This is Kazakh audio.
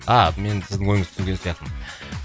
ааа мен сіздің ойыңызды түсінген сияқтымын